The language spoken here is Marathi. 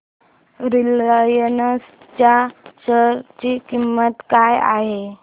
रिलायन्स च्या शेअर ची किंमत काय आहे